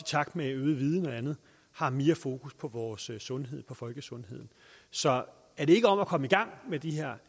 takt med øget viden og andet har mere fokus på vores sundhed på folkesundheden så er det ikke om at komme i gang med de her